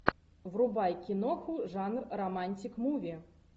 врубай киноху жанр романтик муви